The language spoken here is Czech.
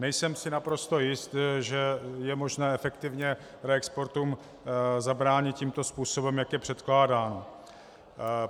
Nejsem si naprosto jist, že je možné efektivně reexportům zabránit tímto způsobem, jak je předkládán.